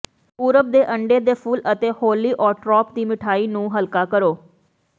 ਪੂਰਬ ਦੇ ਅੰਡੇ ਦੇ ਫੁੱਲ ਅਤੇ ਹੌਲੀਓਟਰੋਪ ਦੀ ਮਿਠਾਈ ਨੂੰ ਹਲਕਾ ਕਰੋ